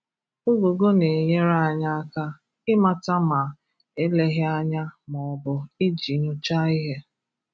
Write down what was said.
Ụgụgụ na-enyèrè anyị àkà ị̀màtà ma eléghì ànyà ma ọ bụ iji nyòchàà ihe.